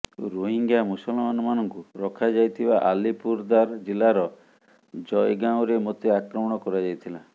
ରୋହିଙ୍ଗ୍ୟା ମୁସଲମାନମାନଙ୍କୁ ରଖାଯାଇଥିବା ଆଲିପୁରଦାର ଜିଲ୍ଲାର ଜୟଗାଓଁରେ ମୋତେ ଆକ୍ରମଣ କରାଯାଇଥିଲା